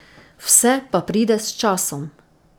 Vse pa pride s časom.